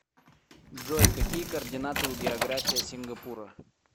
джой какие координаты у география сингапура